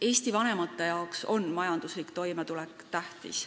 Eesti lastevanematele on majanduslik toimetulek tähtis.